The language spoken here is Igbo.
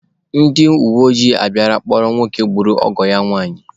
Ndi uweojii abịala kpụrụ nwoke gburu ọgọ ya nwanyị.